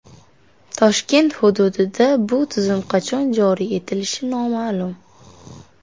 Toshkent hududida bu tizim qachon joriy etilishi noma’lum.